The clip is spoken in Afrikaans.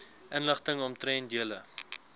inligting omtrent julle